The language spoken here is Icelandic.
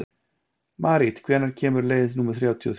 Marít, hvenær kemur leið númer þrjátíu og þrjú?